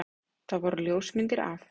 Það voru ljósmyndir af